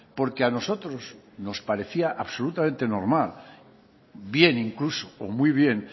porque a nosotros nos parecía absolutamente normal bien incluso o muy bien